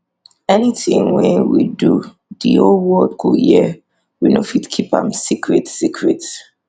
anytin we do di whole world go hear we no fit keep am secret secret